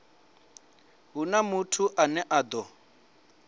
huna muthu ane a ḓo